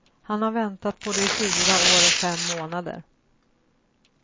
Han har väntat på det i fyra år och fem månader.